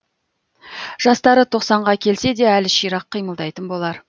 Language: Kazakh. жастары тоқсанға келсе де әлі ширақ қимылдайтын болар